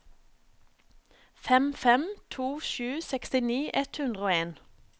fem fem to sju sekstini ett hundre og en